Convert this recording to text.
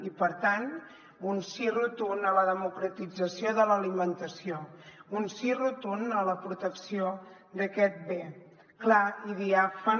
i per tant un sí rotund a la democratització de l’alimentació un sí rotund a la protecció d’aquest bé clar i diàfan